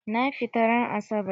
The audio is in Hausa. Na fita ran asabar.